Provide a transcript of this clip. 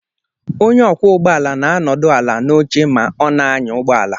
Onye ọkwọ ụgbọ ala na-anọdụ ala n'oche ma ọ na-anya ụgbọ ala